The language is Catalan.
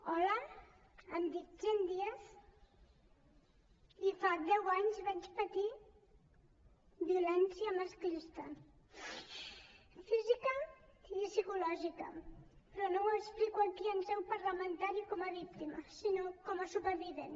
hola em dic jenn díaz i fa deu anys vaig patir violència masclista física i psicològica però no ho explico aquí en seu parlamentària com a víctima sinó com a supervivent